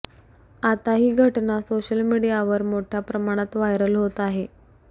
आता ती घटना सोशल मीडियावर मोठ्या प्रमाणात व्हायरल होत आहे